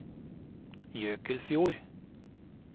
Jøkelfjord